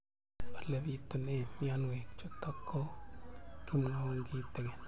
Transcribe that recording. Ole pitune mionwek chutok ko kimwau kitig'�n